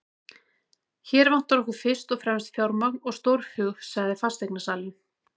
Hér vantar okkur fyrst og fremst fjármagn og stórhug, sagði fasteignasalinn.